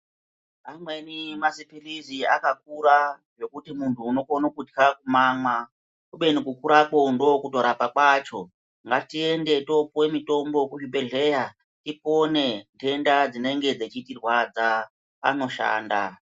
Amweni mazi pilizi akakura zvekuti muntu unokone kutya kumamwa kubeni ku kurako ndokuto rapa kwacho ngatiende topuwa mutombo ku zvibhedhleya tipone dhenda dzinenge dzechiti rwadza anoshanda.